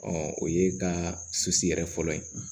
o ye ka susu yɛrɛ fɔlɔ ye